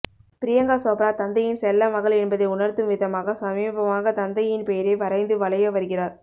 பிரியங்கா சோப்ரா தந்தையின் செல்ல மகள் என்பதை உணர்த்தும் விதமாக சமீபமாக தந்தையின் பெயரை வரைந்து வலைய வருகிறார்